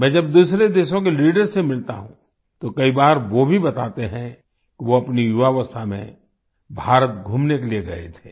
मैं जब दूसरे देशों के लीडर्स से मिलता हूँ तो कई बार वो भी बताते हैं कि वो अपनी युवावस्था में भारत घूमने के लिए गए थे